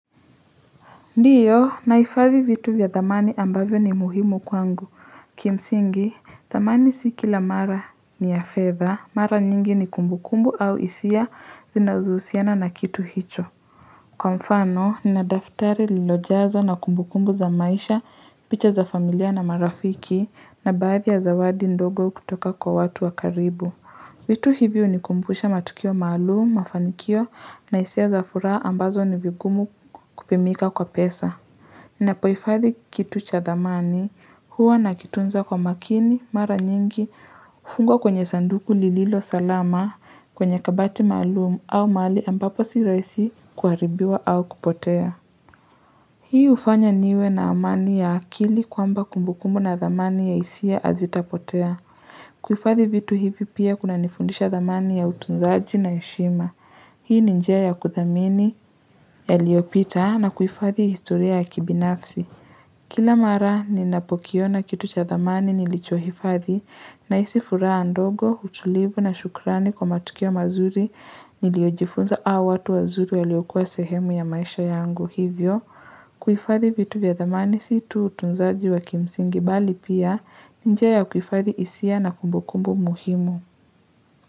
Ndiyo nahifadhi vitu vya dhamani ambavyo ni muhimu kwangu. Kimsingi, dhamani si kila mara ni ya fedha. Mara nyingi ni kumbukumbu au hisia zinazohusiana na kitu hicho. Kwa mfano, nina daftari lilojazwa na kumbukumbu za maisha, picha za familia na marafiki na baadhi ya zawadi ndogo kutoka kwa watu wa karibu. Vitu hivi hunikumbusha matukio maalumu, mafanikio na hisia za furaha ambazo ni vigumu kupimika kwa pesa. Napohifathi kitu cha dhamani, huwa nakitunza kwa makini, mara nyingi, fungo kwenye sanduku lililo salama, kwenye kabati maalumu au mahali ambapo sirahisi kuharibiwa au kupotea. Hii ufanya niwe na amani ya akili kwamba kumbukumbu na dhamani ya hisia hazitapotea. Kuhifadhi vitu hivi pia kuna nifundisha dhamani ya utunzaji na heshima. Hii ni njia ya kuthamini yaliopita na kufathi historia ya kibinafsi. Kila mara ninapokiona kitu cha dhamani nilicho hifathi nahisi furaha ndogo utulivu na shukrani kwa matukio mazuri niliojifunza au watu wazuri waliokuwa sehemu ya maisha yangu hivyo. Kuhifathi vitu vya dhamani si tu utunzaji wa kimsingi bali pia ni njia ya kuhifathi hisia na kumbukumbu muhimu.